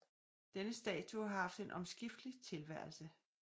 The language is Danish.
Denne statue har haft en omskiftelig tilværelse